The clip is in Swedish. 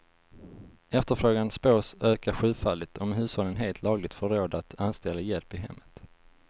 Efterfrågan spås öka sjufaldigt, om hushållen helt lagligt får råd att anställa hjälp i hemmet.